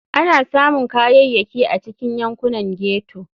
Ana samun Kayayyaki a cikin yankunan ghetto.